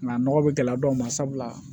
Nka nɔgɔ bɛ gɛlɛya dɔw ma sabula